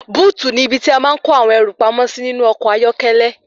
Búùtì ní ibi tí a máa ń kó àwọn ẹrù pamó sí ní inú ọkọ̀ ayọ́kẹ́lẹ́.